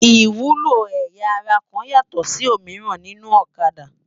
Iwúló ëyá àrá kán yátò si ómirán ninú Òkâdá